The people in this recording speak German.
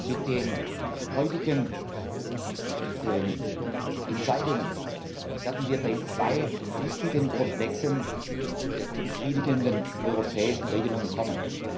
Mit den heutigen Entscheidungen werden wir bei zwei wichtigen Komplexen zu befriedigenden europäischen Regelungen kommen.